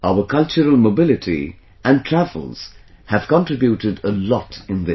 Our cultural mobility and travels have contributed a lot in this